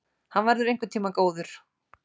Hann verður einhvern tíma góður!